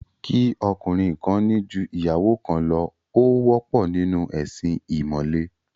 Kí ọkùnrin kan ní ju ìyàwó kan lọ, ó wọ́pọ̀ nínú ẹ̀sin ìmọ̀le